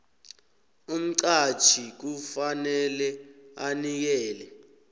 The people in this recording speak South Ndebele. umqatjhi kufanele anikele